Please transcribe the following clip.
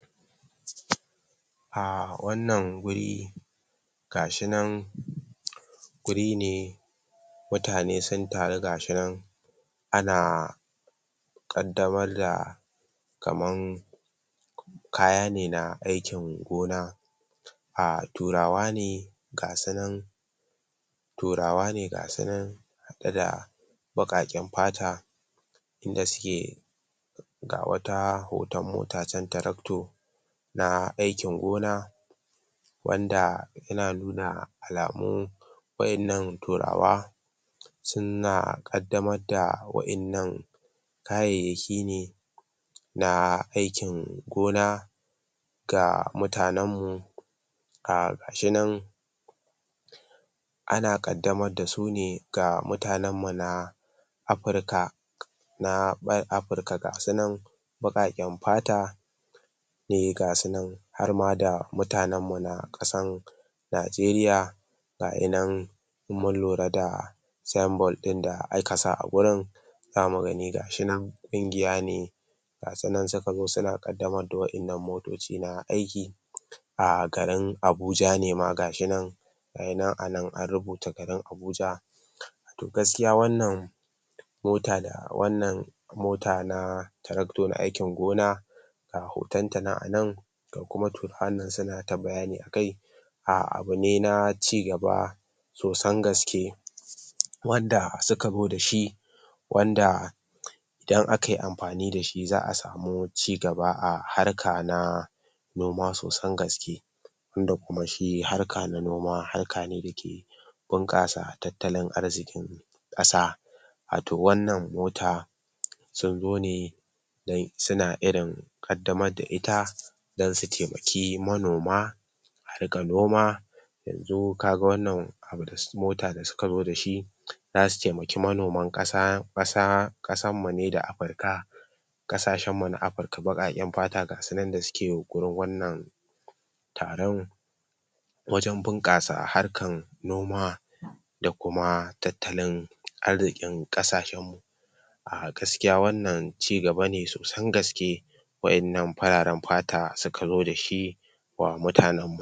A wannan guri gashinan guri ne mutane sun taru gashinan ana ƙaddamar da kaman kaya ne na aikin gona um turawa ne gasunan turawa ne gasu nan da da ɓaƙaƙen fata inda su ke ga wata hoton mata chan tractor na aikin gona wanda yana nuna alamun wa'innan turawa suna ƙaddamar da wa'innan kayayyaki ne na aikin gona ga mutanen mu um gashinan ana ƙaddamar da su ne ga mutanen mu na afrika na afirka gasunan baƙaƙen fata ne gasunan harma da mutanen mu na ƙasan Najeriya gayinan in mun lura da signboard ɗin da aka sa a wajen za mu ga gashinan ƙungiya ne gasunan suka zo suna ƙaddamar da wa'innan motoci na aiki a garin Abuja ne ma gashinan gayinan ana an rubuta garin Abuja to gaskiya wannan mota da wannan mota na tractor na aikin gona ga hoton ta nan anan ga kuma turawan suna ta bayani akai a abu ne na cigaba sosan gaske wanda suka zo da shi wanda idan akayi amfani da shi za a samu cigaba a harka na noma sosan gaske wanda kuma harka na noma harka ne dake bunƙasa tattalin arzikin ƙasa wato wannan mota sun zo ne dan suna irin ƙaddamar da ita dan su taimaki manoma daga noma yanzu ka ga wannan abu mota da suka zo da shi za su taiamaki manoman kasa ƙasan mu ne da afirka ƙasashen mu na Afrika baƙaƙen fata gasunan da suke yunƙurin wannan taron wajen bunƙasa harkan noma da kuma tattalin arzikin ƙasashen mu a gaskiya wannan cigaba ne sosan gaske wa'innan fararen fata suka zo da shi ma mutanen mu.